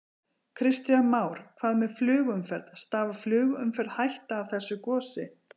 Kristján Már: Hvað með flugumferð, stafar flugumferð hætta af þessu gosi?